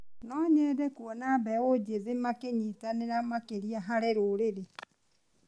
No nyende kuona mbeũ njĩthĩ makĩnyitanĩra makĩria harĩ rũrĩrĩ.